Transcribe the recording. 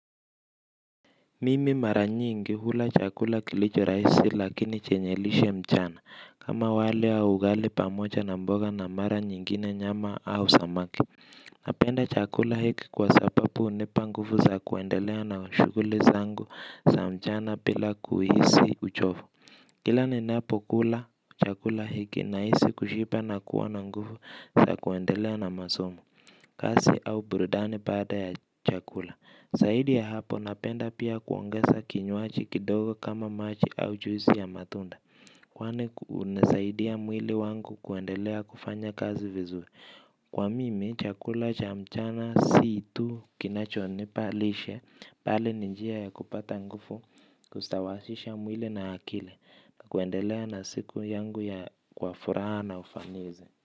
Mimi mara nyingi hula chakula kilicho rahisi lakini chenye lishe mchana. Kama wali au ugali pamoja na mboga na mara nyingine nyama au samaki. Napenda chakula hiki kwa sababu hunipa nguvu za kuendelea na shughuli zangu za mchana bila kuhisi uchovu. Kila ninapokula chakula hiki nahisi kushiba na kuwa na nguvu na kuendelea na masomo. Kazi au burudani baada ya chakula. Zaidi ya hapo napenda pia kuongeza kinywaji kidogo kama maji au juisi ya matunda. Kwani hunisaidia mwili wangu kuendelea kufanya kazi vizuri. Kwa mimi, chakula cha mchana si tu kinachonipa lishe, bali ni njia ya kupata nguvu, kustawasisha mwili na akili, na kuendelea na siku yangu kwa furaha na ufanisi.